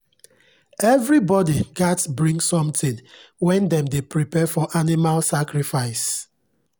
everybody gats bring something when dem dey prepare for animal sacrifice.